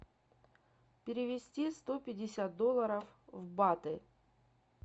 перевести сто пятьдесят долларов в баты